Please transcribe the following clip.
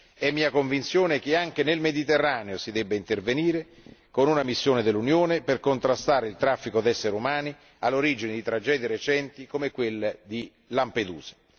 È mia convinzione che anche nel Mediterraneo si debba intervenire con una missione dell'Unione per contrastare il traffico di esseri umani, all'origine di tragedie recenti come quelle di Lampedusa.